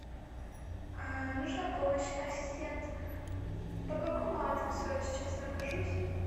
нужна помощь ассистент по какому адресу я сейчас нахожусь